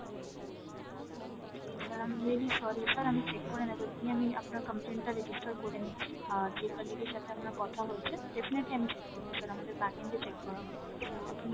okay sir, i am really sorry sir, আমি check করে নেবো এখুনি আমি আপনার complain টা register করে নিচ্ছি, আর যেই colleague এর সাথে আপনার কথা হয়েছে definitely আমি check করবো sir আমাদের backend এ check করা হবে তো আপনি